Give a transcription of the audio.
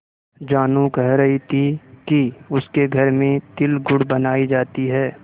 जानू कह रही थी कि उसके घर में तिलगुड़ बनायी जाती है